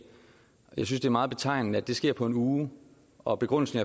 jeg synes det er meget betegnende at det sker på en uge og begrundelsen